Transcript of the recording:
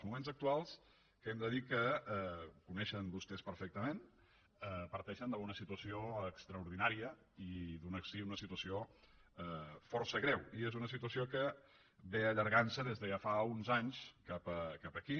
moments actuals que hem de dir que ho coneixen vostès perfectament parteixen d’una situació extraordinària i d’una situació força greu i és una situació que ve allargant se des de ja fa uns anys cap aquí